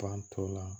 Fan tɔ la